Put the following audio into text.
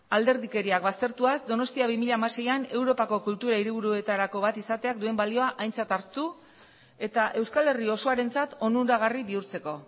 alderdikeriak baztertuaz donostia bi mila hamaseian europako kultura hiribuetarako bat izateak duen balioa aintzat hartu eta euskal herri osoarentzat onuragarri bihurtzeko